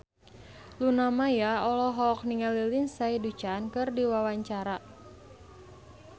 Luna Maya olohok ningali Lindsay Ducan keur diwawancara